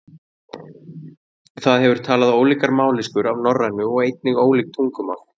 það hefur talað ólíkar mállýskur af norrænu og einnig ólík tungumál